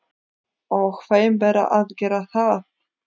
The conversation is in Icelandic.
Og þeim ber að gera það.